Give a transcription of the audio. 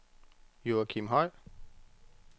Joachim Høj